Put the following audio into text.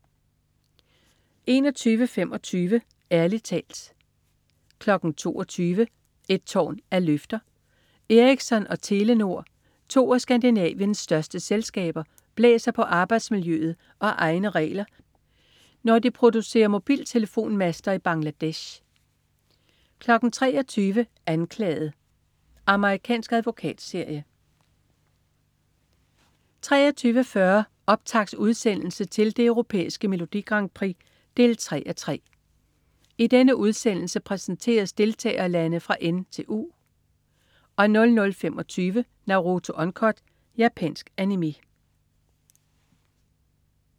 21.25 Ærlig talt 22.00 Et tårn af løfter. Ericsson og Telenor, to af Skandinaviens største selskaber, blæser på arbejdsmiljøet og egne regler, når de producerer mobiltelefonmaster i Bangladesh 23.00 Anklaget. Amerikansk advokatserie 23.40 Optaktsudsendelse til det Europæiske Melodi Grand Prix 3:3. I denne udsendelse præsenteres deltagerlande fra N til U 00.25 Naruto Uncut. Japansk Animé